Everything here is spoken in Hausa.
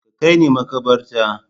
Ka kai ni makabarta